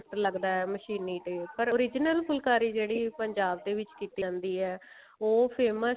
ਲੱਗਦਾ ਹੈ ਮਸ਼ੀਨੀ ਤੇ original ਫੁਲਕਾਰੀ ਜਿਹੜੀ ਹੈ ਜਿਹੜੀ ਪੰਜਾਬ ਦੇ ਵਿੱਚ ਕਿਤੇ ਆਉਂਦੀ ਹੈ ਉਹ famous ਹੈ